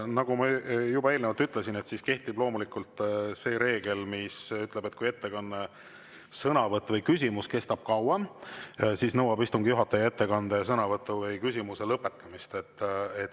Nagu ma juba eelnevalt ütlesin, kehtib loomulikult see reegel, mis ütleb, et kui ettekanne, sõnavõtt või küsimus kestab kauem, siis nõuab istungi juhataja ettekande, sõnavõtu või küsimuse lõpetamist.